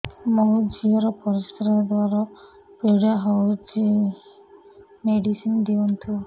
ମୋ ଝିଅ ର ପରିସ୍ରା ଦ୍ଵାର ପୀଡା ହଉଚି ମେଡିସିନ ଦିଅନ୍ତୁ